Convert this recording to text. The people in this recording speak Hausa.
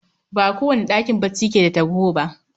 Ba kowane ɗakin bacci keda tarho bah